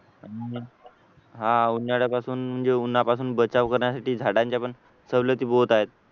हा उन्हाळ्यापासून म्हणजे उन्हापासून बचाव करण्यासाठी झाडांच्या पण सवलती बहुत आहेत